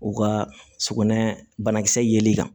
U ka sugunɛ banakisɛ yeli kan